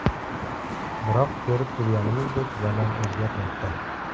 Biroq, ko‘rib turganimizdek, zamon o‘zgarmoqda.